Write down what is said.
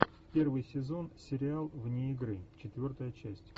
первый сезон сериал вне игры четвертая часть